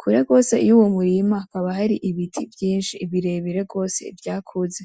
Kure gose y’uwo murima hakaba hari ibiti vyinshi birebire gose vyakuze .